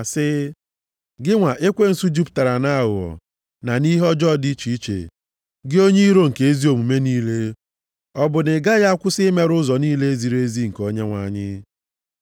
sị, “Gị nwa ekwensu, jupụtara nʼaghụghọ na nʼihe ọjọọ dị iche iche. Gị onye iro nke ezi omume niile. Ọ bụ na i gaghị akwụsị imerụ ụzọ niile ziri ezi nke Onyenwe anyị?